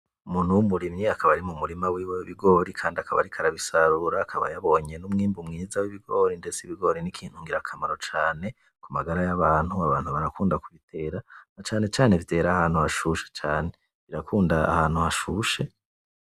Umuntu w'umurimyi akaba ari mumurima wiwe w'ibigori kandi akaba ariko arabisarura akaba yabonye n'umwimbu mwiza w'bigori ndetse ibigori ni ikintu ngira kamaro cane kumagara y'abantu abantu barakunda kubitera na cane cane vyera ahantu hashushe cane birakunda ahantu hashushe